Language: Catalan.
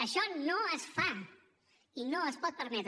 això no es fa i no es pot permetre